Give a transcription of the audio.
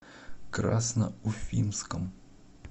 красноуфимском